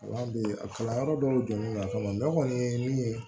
Wala bi a kalanyɔrɔ dɔw jɔni na a kama kɔni ye min ye